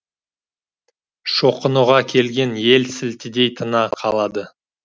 шоқынуға келген ел сілтідей тына қалады